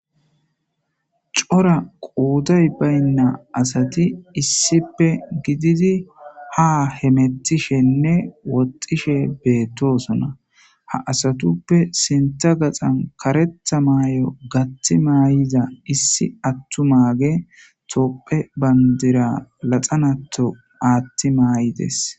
cora qoday baynna asati issippe gididi ha hemettishenne woxxishe beettosona ha asatuppe sinta gaxan karetha maay7o gatti maay7iza issi attu maage topphe bandira laxanato aatti maay7ides